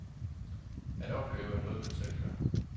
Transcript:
At opleve er noget man selv gør.